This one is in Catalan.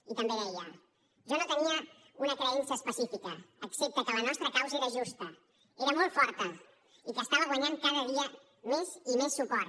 i també deia jo no tenia una creença específica excepte que la nostra causa era justa era molt forta i que estava guanyant cada dia més i més suport